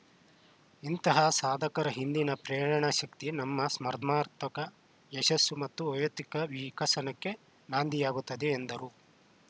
ಇಂತಹ ಸಾಧಕರ ಹಿಂದಿನ ಪ್ರೇರಕಶಕ್ತಿ ನಮ್ಮ ಸ್ಪರ್ಧಾತ್ಮಕ ಯಶಸ್ಸು ಮತ್ತು ವ್ಯಕ್ತಿತ್ವ ವಿಕಸನಕ್ಕೆ ನಾಂದಿಯಾಗುತ್ತವೆ ಎಂದರು